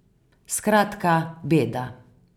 Skratka, beda.